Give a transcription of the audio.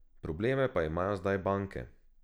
Probleme pa imajo zdaj banke.